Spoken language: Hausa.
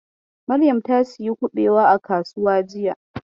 Maryam ta sayi kuɓewa a kasuwa jiya.